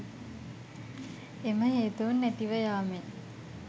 එම හේතූන් නැතිව යාමෙන්